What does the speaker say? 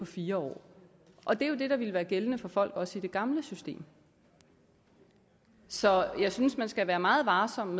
fire år og det er jo det der ville være gældende for folk også i det gamle system så jeg synes man skal være meget varsom